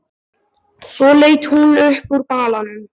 Svo leit hún upp úr balanum.